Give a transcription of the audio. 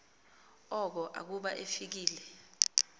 oko akuba efikile